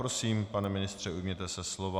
Prosím, pane ministře, ujměte se slova.